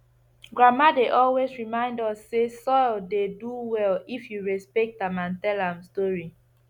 grandma dey always remind us say soil dey do well if you respect am and tell am story